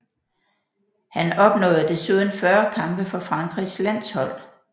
Han opnåede desuden 40 kampe for Frankrigs landshold